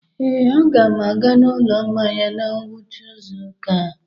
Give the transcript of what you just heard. Ee, a ga m aga n'ụlọ mmanya na ngwụcha izu ụka a.